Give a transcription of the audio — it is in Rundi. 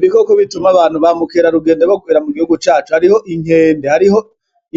Ibikoko bituma abantu ba mukerarugendo bokwibera mu gihugu cacu hariho inkende, hariho